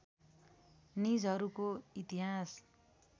निजहरूको इतिहास